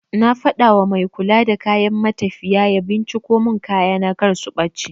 Na faɗawa mai kula da kayan matafiya ya binciko mun kayana kar su ɓace